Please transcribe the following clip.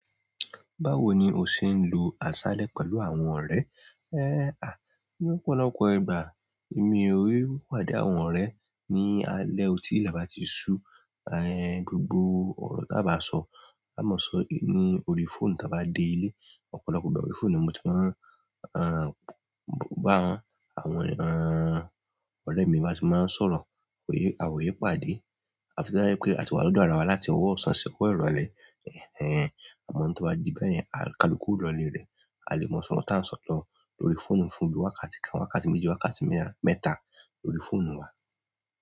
Báwo ni o ṣe ń lo aṣálẹ́ pẹ̀lú àwọn ọ̀rẹ́? Ẹ́, à, lọ́pọ̀lọpọ̀ ìgbà èmi ò rí páde àwọn ọ̀rẹ́ ní alẹ́ otí ìlẹ̀ bàtí ṣu, à, gbogbo ọ̀rọ̀ tí a bá sọ, á mọ̀ sọ ní orí fóònù tí a bá dé ilé. Ọ̀pọ̀lọpọ̀ ìgbà orí fóònù ni mo ti máa ń, à, bá àwọn, à, ọ̀rẹ́ mi bá ti máa ń sọ̀rọ̀, kò yé, àwọn ò yépa dé. Àfi to ba jẹ́ pé a ti wá lọ́dọ̀ ara wa láti ọwọ́ òsán sí ọwọ̀ ìrọ̀lẹ́, ẹ́, àmọ́ tí ó bá di bẹ́yẹ̀n, a kálukù o lọ ilé rẹ a lè mọ̀ sọ́rọ à tí à ń sọ̀lọ̀ lórí fóònù ń fún bí wákàtí kan, wákàtí méjì, wákàtí mẹ́rin, mẹ́ta lórí fóònù wa.